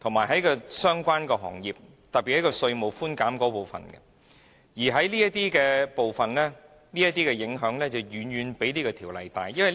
方面，特別是對相關行業的稅務寬減規定，所造成的影響更遠較《條例草案》本身更加深遠。